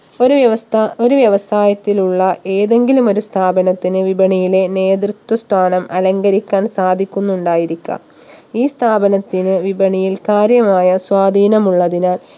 ഒരു വ്യവസ്ഥ ഒരു വ്യവസായത്തിലുള്ള ഏതെങ്കിലും ഒരു സ്ഥാപനത്തിന് വിപണിയിലെ നേതൃത്വ സ്ഥാനം അലങ്കരിക്കാൻ സാധിക്കുന്നുണ്ടായിരിക്കാം ഈ സ്ഥാപനത്തിന് വിപണിയിൽ കാര്യമായ സ്വാധീനം ഉള്ളതിനാൽ